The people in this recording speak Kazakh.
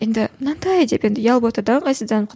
енді мынандай деп енді ұялып отыр да ыңғайсызданып